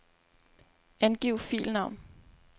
Angiv filnavn.